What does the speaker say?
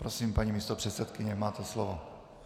Prosím, paní místopředsedkyně, máte slovo.